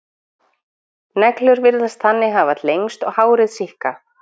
Neglur virðast þannig hafa lengst og hárið síkkað.